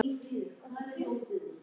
Snjóki, hækkaðu í græjunum.